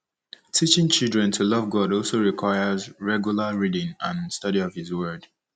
Teaching children to love God also requires regular reading and study of his Word.